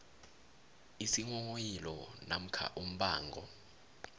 isinghonghoyilo namkha umbango